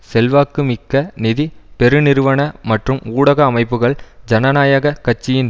செல்வாக்கு மிக்க நிதி பெருநிறுவன மற்றும் ஊடக அமைப்புக்கள் ஜனநாயக கட்சியின்